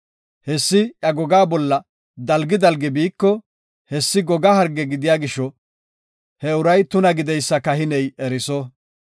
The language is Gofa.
Hessi iya gogaa bolla dalgi dalgi biiko, hessi goga harge gidiya gisho he uray tuna gideysa kahiney eriso.